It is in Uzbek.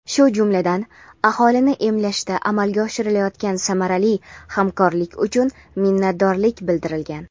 shu jumladan aholini emlashda amalga oshirilayotgan samarali hamkorlik uchun minnatdorlik bildirilgan.